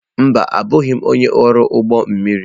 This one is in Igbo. Mba, abụghị m onye ọrụ ụgbọ mmiri.